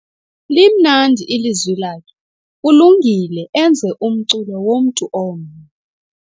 Limnandi ilizwi lakhe kulungile enze umculo womntu omnye.